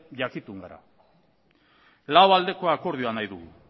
jakitun gara lau aldeko akordioa nahi dugu